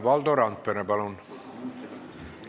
Valdo Randpere, palun!